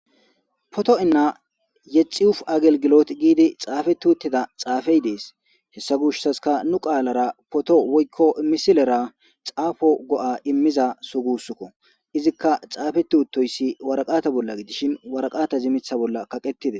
Poto'inna yexi uf agelgilot giidi xaafe tuuttida xaafey dees hessa gushsaska nu qaalara poto woykko misilera xaafo go'a immiza sugusukko izikka xaafe tuuttoyssi waraqata bolla gidishin waraqata zimitha bolla kaqettide.